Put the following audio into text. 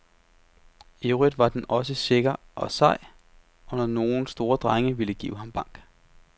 I øvrigt var den også sikker og sej, når nogle store drenge ville give ham bank.